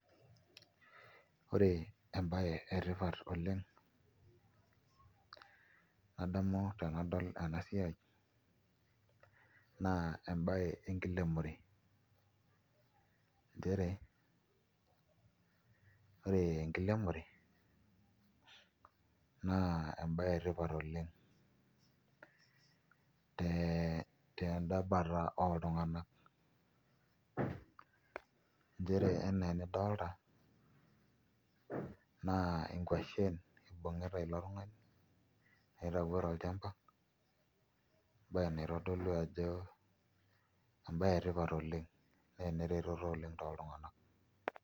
Ore embaye etipat oleng' nadamu tenadol ena siai naa embaye enkiremore nchere ore enkiremore naa embaye etipata oleng' tenda bata oltung'anak nchere enaa enidolita naa nkuashen ibung'ita ilo tung'ani naitauo tolchamba embaye naitodolu ajo embaye etipata oleng' naa enereteto oleng' toltung'anak.